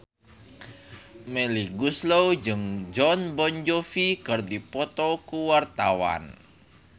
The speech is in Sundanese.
Melly Goeslaw jeung Jon Bon Jovi keur dipoto ku wartawan